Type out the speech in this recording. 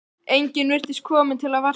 Enginn virtist kominn til að versla.